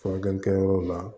Furakɛli kɛyɔrɔ la